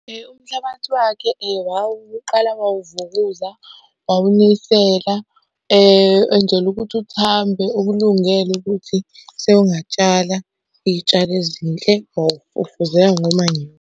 Umhlabathi wakhe wawuqala wawuvukuza, wawunisela enzela ukuthi uthambe okulungele ukuthi sewungatshala iy'tshalo ezinhle .